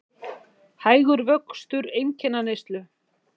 Hægur vöxtur einkaneyslu